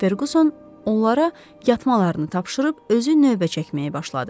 Ferquson onlara yatmalarını tapşırıb özü növbə çəkməyə başladı.